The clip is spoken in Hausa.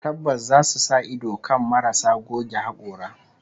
Tabbas zasu sa ido kan marasu goge hakora